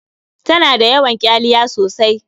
Ta na da yawan ƙyaliya sosai.